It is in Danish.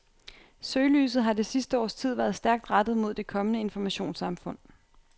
Søgelyset har det sidste års tid været stærkt rettet mod det kommende informationssamfund.